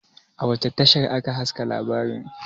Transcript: a wace tashar aka haska labarin?